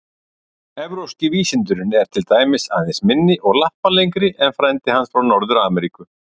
Evrópski vísundurinn er til dæmis aðeins minni og lappalengri en frændi hans frá Norður-Ameríku.